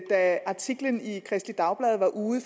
da artiklen i kristeligt dagblad var ude